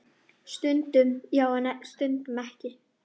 Stundum já, en stundum ekki.